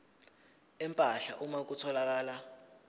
empahla uma kutholakala